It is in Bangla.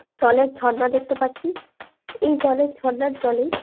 জলের ঝর্ণা দেখতে পাচ্ছি এই জলের ঝর্ণার জলে।